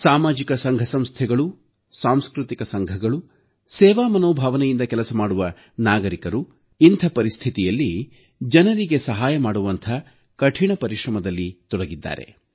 ಸಾಮಾಜಿಕ ಸಂಘ ಸಂಸ್ಥೆಗಳು ಸಾಂಸ್ಕೃತಿಕ ಸಂಘಗಳು ಸೇವಾ ಮನೋಭಾವನೆಯಿಂದ ಕೆಲಸ ಮಾಡುವ ನಾಗರಿಕರು ಇಂಥ ಪರಿಸ್ಥಿತಿಯಲ್ಲಿ ಜನರಿಗೆ ಸಹಾಯ ಮಾಡುವಂಥ ಕಠಿಣ ಪರಿಶ್ರಮದಲ್ಲಿ ತೊಡಗಿದ್ದಾರೆ